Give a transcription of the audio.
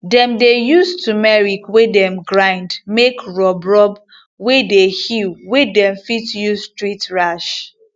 dem dey use turmeric wey dem grind make rub rub wey dey heal wey dem fit use treat rash